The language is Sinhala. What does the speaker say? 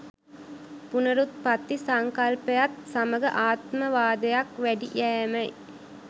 පුනරුත්පත්ති සංකල්පයත් සමඟ ආත්මවාදයක් වැඩි යෑමයි.